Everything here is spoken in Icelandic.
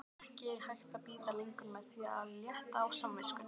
Ekki hægt að bíða lengur með að létta á samviskunni!